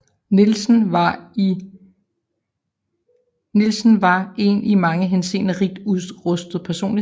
Nielsen var en i mange henseender rigt udrustet personlighed